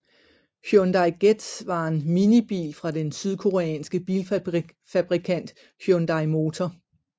Hyundai Getz var en minibil fra den sydkoreanske bilfabrikant Hyundai Motor